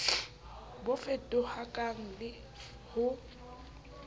bo fetohakang le f ho